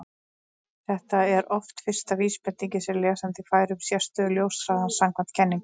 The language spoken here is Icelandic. Þetta er oft fyrsta vísbendingin sem lesandi fær um sérstöðu ljóshraðans samkvæmt kenningunni.